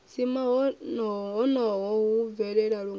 dzima honoho hu bvelela lungana